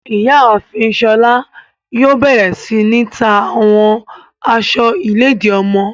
Iyaafin Shola yoo bẹrẹ si ta awọn aṣọ iledi ọmọ